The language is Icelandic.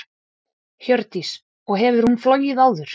Hjördís: Og hefur hún flogið áður?